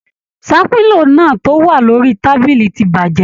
Ṣàpínlò náà to wà lórí tábìlì ti bajẹ.